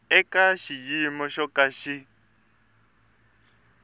eka xiyimo xo ka xi